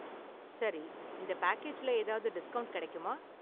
சரி. இந்த பேக்கேஜ்ல ஏதாவது டிஸ்கவுன்ட் கிடைக்குமா?